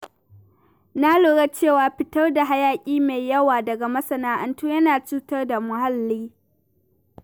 Na lura cewa fitar da hayaƙi mai yawa daga masana’antu yana cutar da muhalli.